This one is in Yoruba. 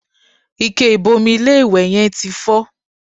Ike ìbomi ilé-ìwẹ̀ yẹn ti fọ́